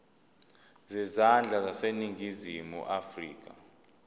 zezandla zaseningizimu afrika